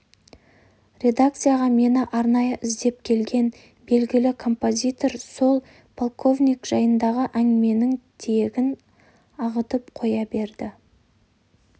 редакцияға мені арнайы іздеп келген белгілі композитор сол полковник жайындағы әңгіменің тиегін ағытып қоя берді